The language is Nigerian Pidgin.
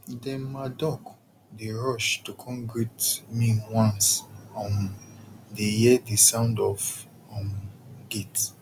dem ma duck dey rush to kon great me once um dey hear the sound of um gate